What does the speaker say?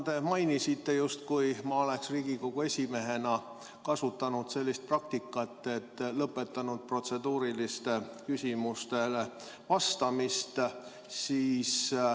Te mainisite, justkui ma oleks Riigikogu esimehena kasutanud sellist praktikat, et lõpetanud protseduurilistele küsimustele vastamise.